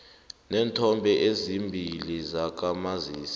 neenthombe ezimbili zakamazisi